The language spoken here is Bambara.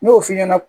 N y'o f'i ɲɛna